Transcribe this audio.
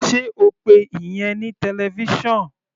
Sé o pe ìyẹn ní television?